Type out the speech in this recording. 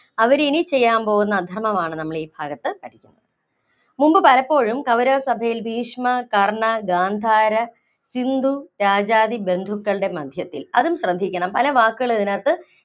അവരിനി ചെയ്യാന്‍ പോകുന്ന അധര്‍മ്മമാണ് നമ്മളീഭാഗത്ത് പഠിക്കുന്നത്. മുമ്പ് പലപ്പോഴും കൗരവ സഭയില്‍ ഭീഷ്മ, കര്‍ണ്ണ, ഗാന്ധാര, സിന്ധു, രാജാദി ബന്ധുക്കളുടെ മദ്ധ്യത്തില്‍ അതും ശ്രദ്ധിക്കണം. പല വാക്കുകളും ഇതിനകത്ത്